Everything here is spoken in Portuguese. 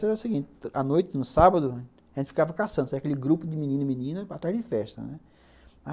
Então era o seguinte, a noite, no sábado, a gente ficava caçando, aquele grupo de menino e menina atrás de festa.